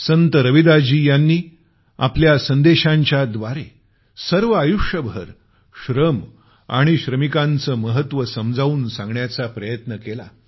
संत रविदासजी यांनी आपल्या संदेशांच्या द्वारे सर्व आयुष्यभर श्रम आणि श्रमिकांचं महत्व समजावून सांगण्याचा प्रयत्न केला